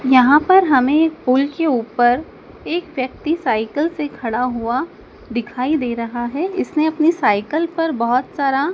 यहां पर हमें एक पुल के ऊपर एक व्यक्ति साइकिल से खड़ा हुआ दिखाई दे रहा है इसने अपने साइकिल पर बहोत सारा--